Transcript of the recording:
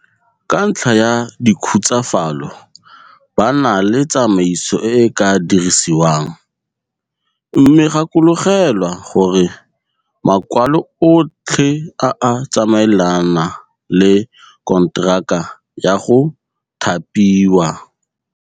Ka ntlha ya dikhutsafalo ba na le tsamaiso e e ka dirisiwang. Mme gakologelwa gore makwalo otlhe a a tsamaelana le konteraka ya go thapiwa.